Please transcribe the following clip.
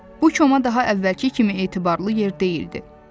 Bu koma daha əvvəlki kimi etibarlı yer deyildi.